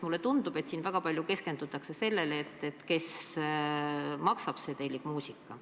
Mulle tundub, et siin väga palju keskendutakse sellele, et kes maksab, see tellib muusika.